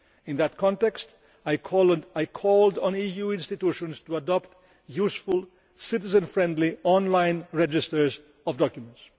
In that context I called on the EU institutions to adopt useful, citizen friendly online registers of documents.